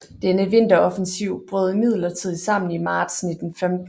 Denne vinteroffensiv brød imidlertid sammen i marts 1915